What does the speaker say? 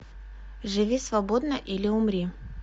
живи свободно или умри